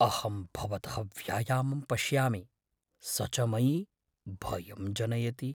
अहं भवतः व्यायामं पश्यामि, स च मयि भयं जनयति।